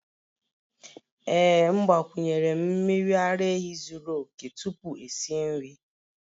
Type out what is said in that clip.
Ee m gbakwunyere'm miri ara ehi zuru oke tupu esi nri